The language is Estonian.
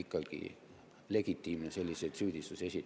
… kas te olete legitiimne selliseid süüdistusi esitama.